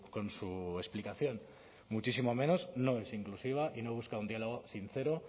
con su explicación muchísimo menos no es inclusiva y no busca un diálogo sincero